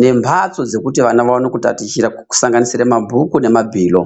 nemhatso dzekuti vana vaone kutatichira kusanganisira mabhuku nemabhilo.